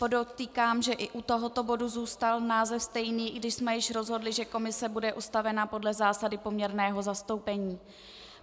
Podotýkám, že i u tohoto bodu zůstal název stejný, i když jsme již rozhodli, že komise bude ustavena podle zásady poměrného zastoupení.